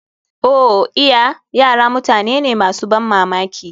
Oh iya! Yara mutane ne masu ban mamaki.